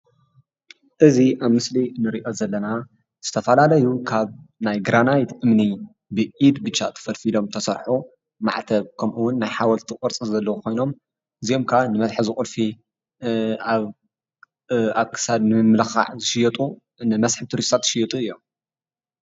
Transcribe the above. እዚ ኣብ ምስሊ እንርእዮ ዘለና ዝተፈላለዩ ካብ ናይ ግራናይት እምኒ ብኢድ ብቻ ተፈልፊሎም ዝተሰርሑ ማዕተብ ከሙኡ ዉን ናይ ሓወልቲ ቅርጺ ዘለዎም ኮይኖም እዚኦም ከዓ ንመትሐዚ ቁልፊ ኣብ ክሳድ ንምምልካዕ ዝሽይጡ ንመስሕብ ቱሪስታት ዝሽየጡ እዮም።